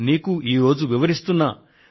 అదేమిటంటే నా స్వేచ్ఛకు సంరక్షకుడివి నువ్వే